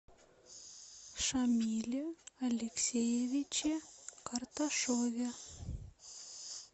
шамиле алексеевиче карташове